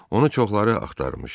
Onu çoxları axtarmışdı.